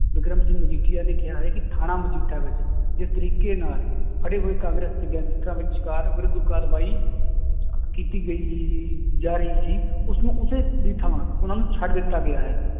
ਵਿਕਰਮ ਸਿੰਘ ਮਜੀਠੀਆ ਨੇ ਕਿਹਾ ਹੈ ਕਿ ਥਾਣਾ ਮਜੀਠਾ ਵਿੱਚ ਜਿਸ ਤਰੀਕੇ ਨਾਲ ਫੜੇ ਹੋਏ ਕਾਂਗਰਸ ਵਿਰੁੱਧ ਕਾਰਵਾਈ ਕੀਤੀ ਗਈ ਜਾ ਰਹੀ ਸੀ ਉਸਨੂੰ ਉਸੇ ਦੀ ਥਾਂ ਉਹਨਾਂ ਨੂੰ ਛੱਡ ਦਿੱਤਾ ਗਿਆ ਹੈ,